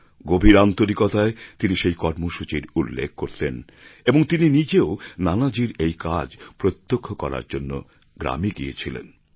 গভীর আন্তরিকতায় তিনি সেই কর্মসূচির উল্লেখ করতেন এবং তিনি নিজেও নানাজীর এই কাজ প্রত্যক্ষ করার জন্য গ্রামে গিয়েছিলেন